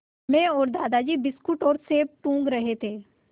मैं और दादाजी बिस्कुट और सेब टूँग रहे थे